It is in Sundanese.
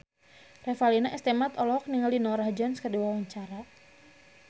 Revalina S. Temat olohok ningali Norah Jones keur diwawancara